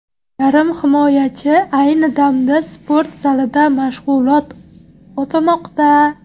Yarim himoyachi ayni damda sport zalida mashg‘ulot o‘tamoqda.